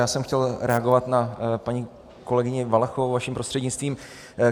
Já jsem chtěl reagovat na paní kolegyni Valachovou vaším prostřednictvím.